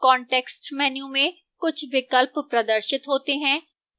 context menu में कुछ विकल्प प्रदर्शित होते हैं